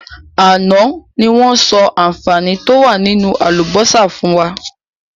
Àná ni wọn sọ àǹfààní to wá nínú àlùbósà fún wa.